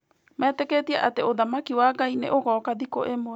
Metĩkĩtie atĩ ũthamaki wa Ngai nĩ ũgooka thikũ ĩmwe.